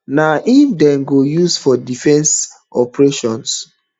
na im dem go use for defensive operations